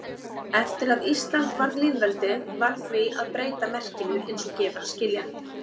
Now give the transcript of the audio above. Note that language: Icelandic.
Eftir að Ísland varð lýðveldi varð því að breyta merkinu eins og gefur að skilja.